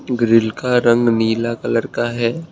Grill का रंग नीला कलर का है।